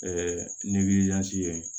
ye